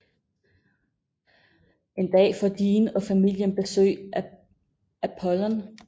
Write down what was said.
En dag får Jean og familien besøg af Apollon